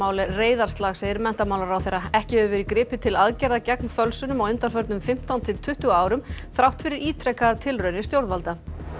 er reiðarslag segir menntamálaráðherra ekki hefur verið gripið til aðgerða gegn fölsunum á undanförnum fimmtán til tuttugu árum þrátt fyrir ítrekaðar tilraunir stjórnvalda